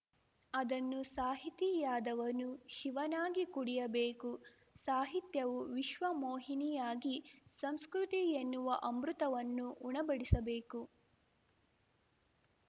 ಅದನ್ನು ಸಾಹಿತಿಯಾದವನು ಶಿವನಾಗಿ ಕುಡಿಯಬೇಕು ಸಾಹಿತ್ಯವು ವಿಶ್ವಮೋಹಿನಿಯಾಗಿ ಸಂಸ್ಕೃತಿ ಎನ್ನುವ ಅಮೃತವನ್ನು ಉಣಬಡಿಸಬೇಕು